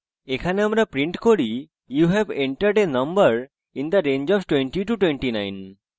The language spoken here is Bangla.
এখানে আমরা print করি you have entered a number in the range of 2029